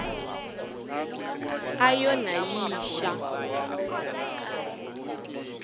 a yo na yi xa